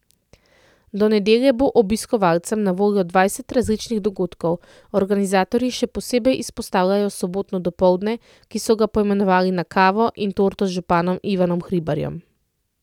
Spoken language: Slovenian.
Do nedelje bo obiskovalcem na voljo dvajset različnih dogodkov, organizatorji še posebej izpostavljajo sobotno dopoldne, ki so ga poimenovali Na kavo in torto z županom Ivanom Hribarjem.